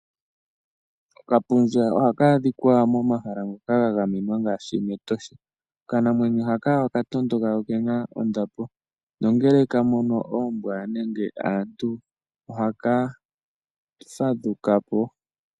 Okapundja ohaka adhikwa momahala ngoka ga gamenwa ngaashi mEtosha. Okanamwenyo hala ohaka tondoka na okena ondapo. Nongele kamono oombwa nenge aantu, ohaka fadhukapo.